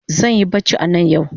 Zanyi bacci anan yau